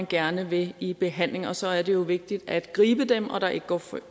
gerne at ville i behandling og så er det jo vigtigt at gribe dem og at der ikke går for